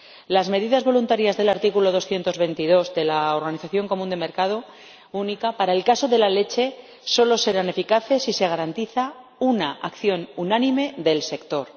Las medidas voluntarias del artículo 222 de la organización común de mercado única para el caso de la leche solo serán eficaces si se garantiza una acción unánime del sector.